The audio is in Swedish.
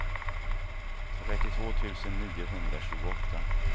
trettiotvå tusen niohundratjugoåtta